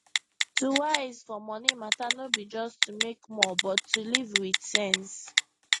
to wise for money matter no be just to make more but to live with sense